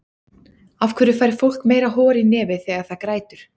af hverju fær fólk meira hor í nefið þegar það grætur